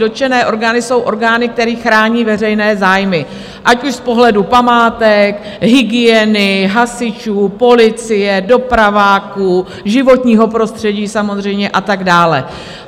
Dotčené orgány jsou orgány, které chrání veřejné zájmy, ať už z pohledu památek, hygieny, hasičů, policie, dopraváků, životního prostředí samozřejmě a tak dále.